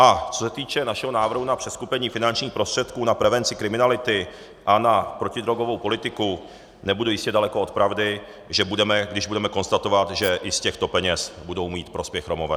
A co se týče našeho návrhu na přeskupení finančních prostředků na prevenci kriminality a na protidrogovou politiku, nebudu jistě daleko od pravdy, když budeme konstatovat, že i z těchto peněz budou mít prospěch Romové.